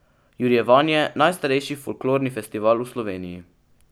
Jurjevanje, najstarejši folklorni festival v Sloveniji.